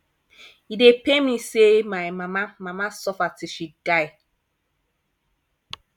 e dey pain me say my mama mama suffer till she die